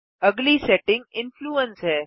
अगली setting influence है